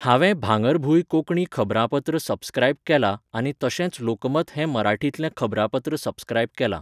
हांवे भांगरभूंय कोंकणी खबरापत्र सबस्क्रायब केलां आनी तशेंच लोकमत हें मराठीतलें खबरापत्र सबस्क्रायब केलां.